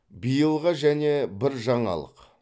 биылға және бір жаңалық